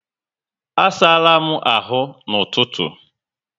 A sárá m áhù na ụtụtụ